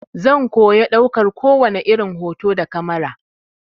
Zan koya ɗaukar kowani irin hoto da kamara.